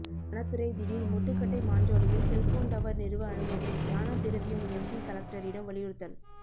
வனத்துறை திடீர் முட்டுக்கட்டை மாஞ்சோலையில் செல்போன் டவர் நிறுவ அனுமதி ஞானதிரவியம் எம்பி கலெக்டரிடம் வலியுறுத்தல்